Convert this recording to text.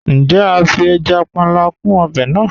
Njẹ̀, a fí ẹja pánlà kún obè náà?